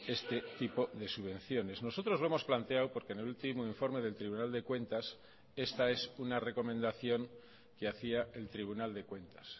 este tipo de subvenciones nosotros lo hemos planteado porque en el último informe del tribunal de cuentas esta es una recomendación que hacía el tribunal de cuentas